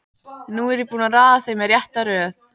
Nú er ég búinn að raða þeim í rétta röð.